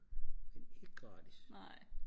men ikke gratis